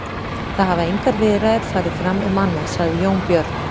Það hafa engar viðræður farið fram um annað, sagði Jón Björn.